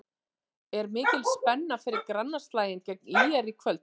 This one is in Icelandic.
Er mikil spenna fyrir grannaslaginn gegn ÍR í kvöld?